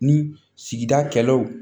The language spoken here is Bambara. Ni sigida kɛlaw